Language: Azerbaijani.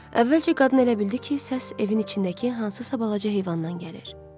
Əvvəlcə qadın elə bildi ki, səs evin içindəki hansısa balaca heyvandan gəlir.